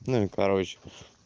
ну и короче